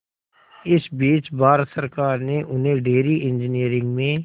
इस बीच भारत सरकार ने उन्हें डेयरी इंजीनियरिंग में